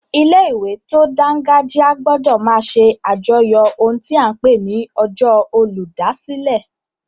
Ilé-ìwé tó dángájíá gbọdọ̀ máa ṣe àjọyọ̀ ohun ta n pè ní ọjọ́ olùdásílẹ̀